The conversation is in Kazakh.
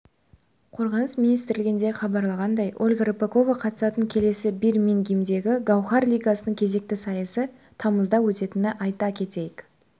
қорғаныс министрлігінде хабарлағандай ольга рыпакова қатысатын келесі бирмингемдегі гауһар лигасының кезекті сайысы тамызда өтетінін айта кетейік